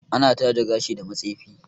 Ana taje gashi da matsefi